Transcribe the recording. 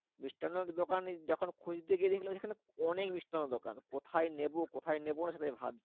মিষ্টান্নর দোকানই যখন খুঁজতে গিয়ে দেখলাম যে এখানে অনেক মিষ্টান্নর দোকান। কোথায় নেবো কোথায় নেবো না সেটাই আমি ভাবছি?